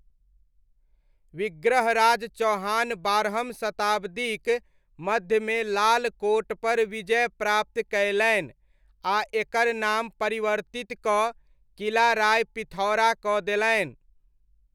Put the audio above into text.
विग्रहराज चौहान बारहम शताब्दीक मध्यमे लाल कोटपर विजय प्राप्त कयलनि आ एकर नाम परिवर्तित कऽ किला राय पिथौरा कऽ देलनि।